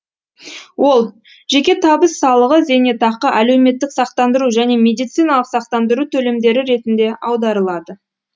ол жеке табыс салығы зейнетақы әлеуметтік сақтандыру және медициналық сақтандыру төлемдері ретінде аударылады